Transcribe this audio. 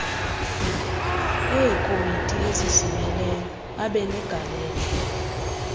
eekomiti ezizimeleyo abenegalelo